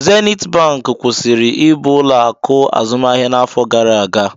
Zenit bank kwụsịrị ịbụ ụlọ akụ azụmaahịa n'afọ gara aga